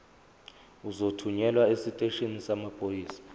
uzothunyelwa esiteshini samaphoyisa